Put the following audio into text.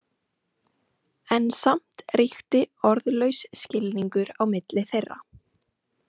En samt ríkti orðlaus skilningur á milli þeirra.